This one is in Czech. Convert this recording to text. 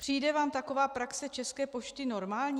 Přijde vám taková praxe České pošty normální?